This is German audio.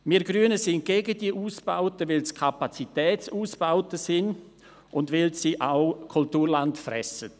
Wir Grünen sind gegen diese Ausbauten, weil es sich dabei um Kapazitätsausbauten handelt und auch weil sie Kulturland fressen.